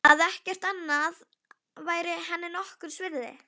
Hef nefnilega aldrei farið ofaní saumana á einveru minni.